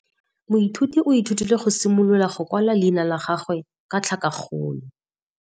Moithuti o ithutile go simolola go kwala leina la gagwe ka tlhakakgolo.